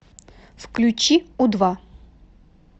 включи у два